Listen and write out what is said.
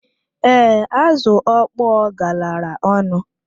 Ee, azụ okpọ galara ọnụ.